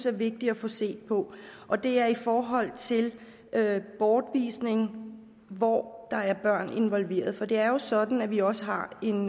er vigtigt at få set på og det er i forhold til bortvisning hvor der er børn involveret for det er jo sådan at vi også har en